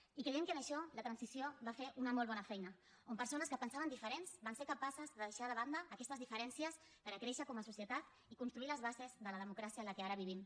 i creiem que en això la transició va fer una molt bona feina on persones que pensaven diferent van ser capaces de deixar de banda aquestes diferències per créixer com a societat i construir les bases de la democràcia en què ara vivim